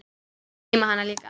Og geyma hana líka.